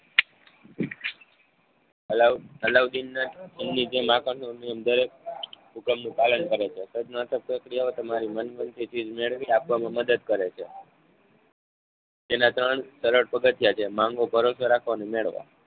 અલાઉડીનના એમની જેમ આકર્ષણ નો નિયમ દરેક ઉગામનું પાલન કરે છે. સજઁનાત્મક પ્રક્રિયાઓ તમારી માનગમતી ચીજ મેળવી આપવામાં મદદ કરે છે. જેના ત્રણ સરળ પગથિયાં છે માંગો ભરોસો રાખો અને મેળવો.